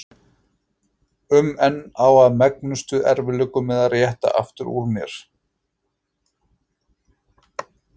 um en á í megnustu erfiðleikum með að rétta aftur úr mér.